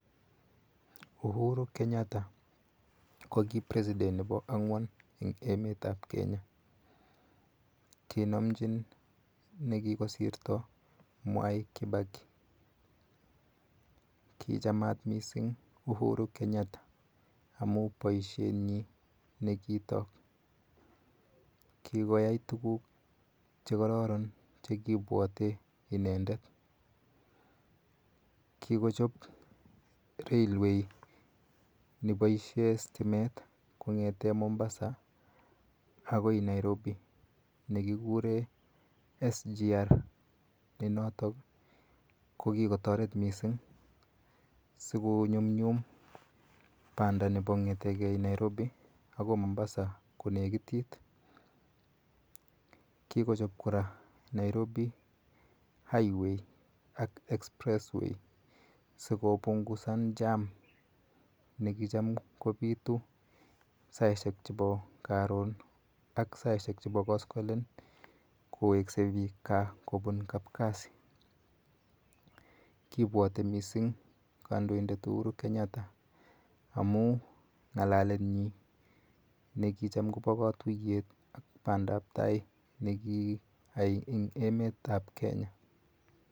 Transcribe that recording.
Uhuru Kenyatta ko ki president nepo ang'wan en emet ap Kenya. Kinomchin ne kikosirta Mwai Kibaki. Kichamat missing' Uhuru Kenyatta amun poishenyi ne kitaak. Kikoyai tuguk che kararan che kiipwate inendet. Kikochop railway ne paishe stimet kong'ete Mombasa akoi Nairob ne kikure SGR ne notok ko ki kotaret missing' si konyumnyum panda nepo kong'ete ge Nairobi akoi Momabsa konekitit. Kikochop kora Nairobi Highway ak Expressway ei ko pungusan jam ne kicham ko pitu saishek chepo karon ak saishek chepo koskolen kowekse piik gaa kopun kapkasi. Kipwati missing' kandoindet Unuru Kenyatta amun ng'alalet nyi ne kicham kopa katuyet ak pandaptai ne kiyai ebg' emet ap Kenya.